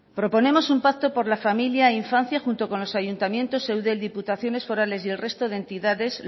proponemos un pacto por la familia e infancia junto con los ayuntamientos eudel diputaciones forales y el resto de entidades